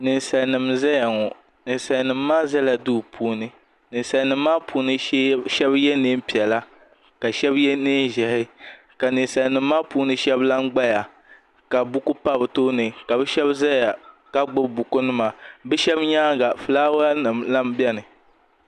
Ninsalinima n-zaya ŋɔ ninsalinima maa zala duu puuni ninsalinima maa puuni shɛba ye neen'piɛla la shɛba ye neen'ʒɛhi ka ninsalinima maa puuni shɛba la n-gbaya ka buku pa bɛ tooni ka bɛ shɛba zaya ka gbubi bukunima bɛ shɛba nyaaŋa fulaawanima lan beni.